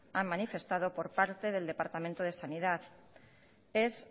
han manifestado por parte del departamento de sanidad es